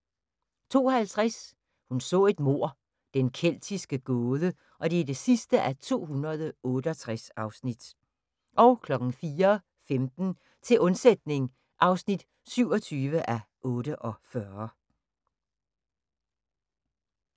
02:50: Hun så et mord: Den keltiske gåde (268:268) 04:15: Til undsætning (27:48)